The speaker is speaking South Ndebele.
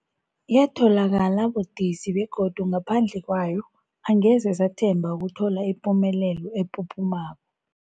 Yatholakala budisi, begodu ngaphandle kwayo angeze sathemba ukuthola ipumelelo ephuphumako.